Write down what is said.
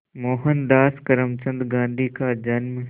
मोहनदास करमचंद गांधी का जन्म